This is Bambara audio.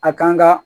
A kan ga